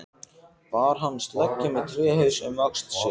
Bar hann sleggju með tréhaus um öxl sér.